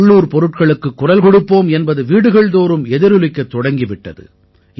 உள்ளூர் பொருட்களுக்குக் குரல் கொடுப்போம் என்பது வீடுகள்தோறும் எதிரொலிக்கத் தொடங்கி விட்டது